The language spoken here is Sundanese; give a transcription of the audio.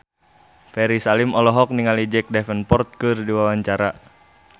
Ferry Salim olohok ningali Jack Davenport keur diwawancara